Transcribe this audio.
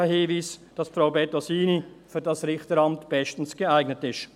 Das ist ein untrüglicher Hinweis, dass Frau Bettosini für dieses Richteramt bestens geeignet ist.